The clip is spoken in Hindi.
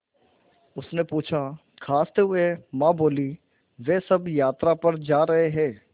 उसने पूछा खाँसते हुए माँ बोलीं वे सब यात्रा पर जा रहे हैं